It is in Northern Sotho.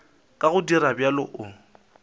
ka go dira bjalo o